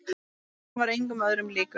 Hann var engum öðrum líkur.